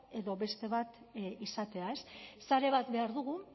edo beste bat izatea ez sare bat behar dugu